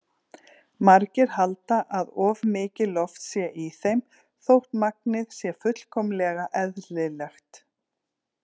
Margir halda að of mikið loft sé í þeim þótt magnið sé fullkomlega eðlilegt.